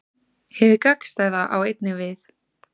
Hið gagnstæða á einnig við.